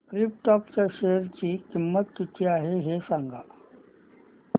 krypton च्या share ची किंमत किती आहे हे सांगा